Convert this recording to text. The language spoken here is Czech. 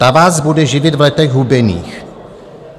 Ta vás bude živit v letech hubených.